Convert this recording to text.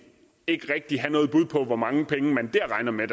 ikke rigtig have noget bud på hvor mange penge man der regner med